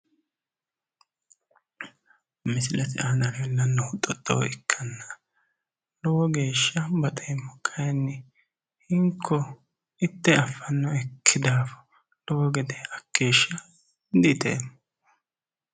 misilete aana leellannohu xooxxoo ikkanna, lowo geeshsha baxeemmo. kayiini hinko itte affanoekki daafo lowo gede hakkeeshsha di iteemmo.